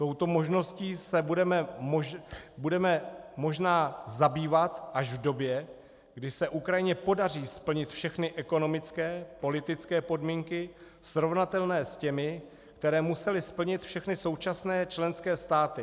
Touto možností se budeme možná zabývat až v době, kdy se Ukrajině podaří splnit všechny ekonomické, politické podmínky srovnatelné s těmi, které musely splnit všechny současné členské státy.